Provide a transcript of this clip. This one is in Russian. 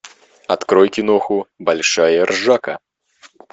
открой киноху большая ржака